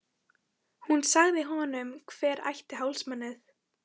Hún sagði honum hver ætti hálsmenið.